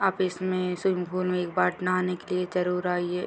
आप इसमें swimming pool में एकबार नहाने के लिए जरूर आइए।